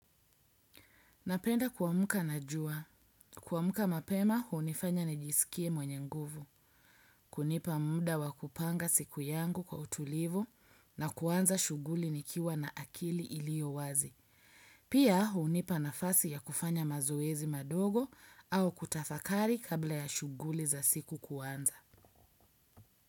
Napenda kuamka na jua. Kuamka mapema, hunifanya nijisikie mwenye nguvu. Kunipa muda wa kupanga siku yangu kwa utulivu na kuanza shughuli nikiwa na akili iliyowazi. Pia hunipa nafasi ya kufanya mazoezi madogo au kutafakari kabla ya shughuli za siku kuanza.